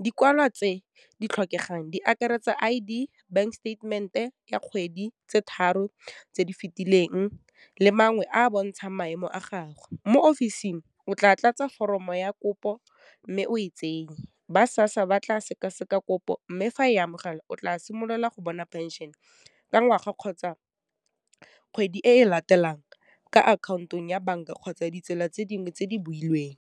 Dikwalwa tse di tlhokegang di akaretsa I_D, bank statement-e ya kgwedi tse tharo tse di fetileng, le mangwe a bontshang maemo a gagwe. Mo officing, o tla tlatse foromo ya kopo mme o e ba sassa ba tla sekaseka kopo, mme fa e amogelwa, o tla simolola go bona phenšene ka ngwaga kgotsa kgwedi e latelang ka account-ong ya bank-a, kgotsa ditsela tse dingwe tse di builweng.